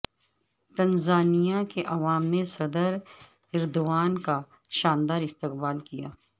Tanzania کے عوام نے صدر ایردوان کا شاندار استقبال کیا